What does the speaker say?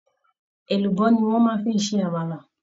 Èlùbọ́ ni wọ́ fi ń ṣẹ Àmàlà